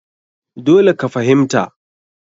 Dole ka fahimta!